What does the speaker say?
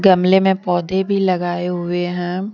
गमले में पौधे भी लगाए हुए है।